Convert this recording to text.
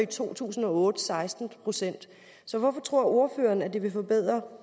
to tusind og otte seksten procent så hvorfor tror ordføreren at det vil forbedre